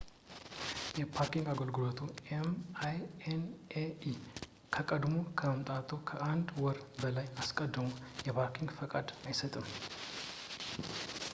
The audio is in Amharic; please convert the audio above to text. ከፓርኪንግ አገልግሎቱ ኤም.አይ.ኤን.ኤ.ኢ ከቀድሞ መምጣቱ ከአንድ ወር በላይ አስቀድሞ ፓርኪንግ ፈቃድ አይሰጥም